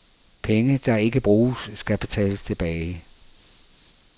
Penge, der ikke bruges, skal betales tilbage.